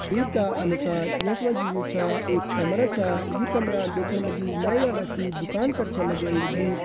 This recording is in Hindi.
तस्वीर का अनुसार यख मा जी जू छा एक कमरा छा यू कमरा देखण मा जी नाईं वाली दुकान छ की लगण लगीं।